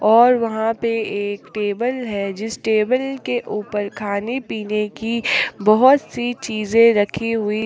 और वहां पे एक टेबल है जिस टेबल के ऊपर खाने पीने की बहुत सि चीजें राखी हुई--